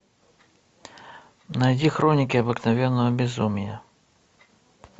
найди хроники обыкновенного безумия